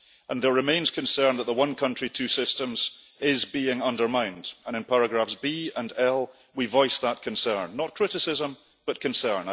There remains a concern that the one country, two systems' is being undermined, and in paragraphs 1 and 1 we voice that concern not criticism but concern.